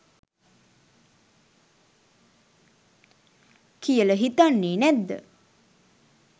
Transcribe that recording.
කියල හිතන්නෙ නැද්ද?